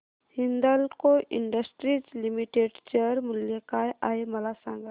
Hindalco industries limited share मूल्य काय आहे मला सांगा